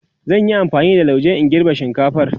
zan Yi amfani da lauje in girbe shinkatfar